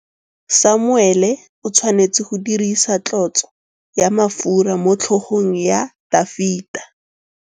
Samuele o tshwanetse go dirisa tlotsô ya mafura motlhôgong ya Dafita.